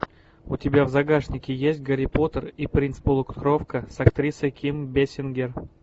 у тебя в загашнике есть гарри поттер и принц полукровка с актрисой ким бейсингер